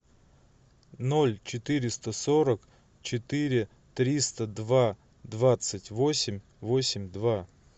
ноль четыреста сорок четыре триста два двадцать восемь восемь два